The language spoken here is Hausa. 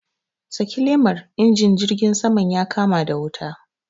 Saki lemar! injin jirgin saman ya kama da wuta.